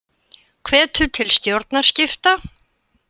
Hvetur til stjórnarskipta